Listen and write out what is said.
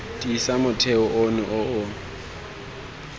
tiisa motheo ono o o